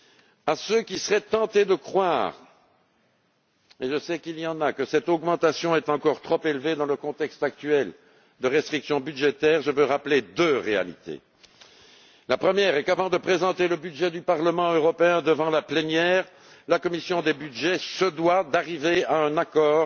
ailleurs. À ceux qui seraient tentés de croire et je sais qu'il y en a que cette augmentation est encore trop élevée dans le contexte actuel de restrictions budgétaires, je veux rappeler deux réalités la première est qu'avant de présenter le budget du Parlement européen devant la plénière, la commission des budgets se doit d'arriver à un accord